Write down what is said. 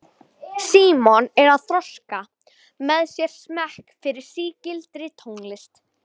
Símon er að þroska með sér smekk fyrir sígildri tónlist.